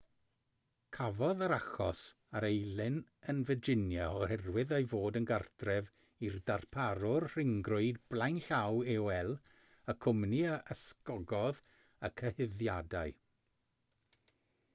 cafodd yr achos ei erlyn yn virginia oherwydd ei fod yn gartref i'r darparwr rhyngrwyd blaenllaw aol y cwmni a ysgogodd y cyhuddiadau